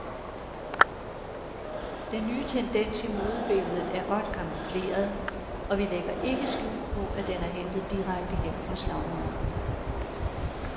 Den nye tendens i modebilledet er godt camoufleret, og vi lægger ikke skjul på, at den er hentet direkte hjem fra slagmarken.